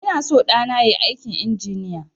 Ina son ɗana yayi aikin injiniya